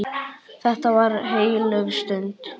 Þetta var heilög stund.